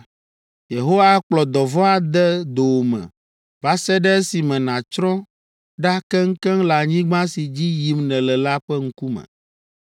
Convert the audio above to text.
Yehowa akplɔ dɔvɔ̃ ade dowòme va se ɖe esime nàtsrɔ̃ ɖa keŋkeŋ le anyigba si dzi yim nèle la ƒe ŋkume.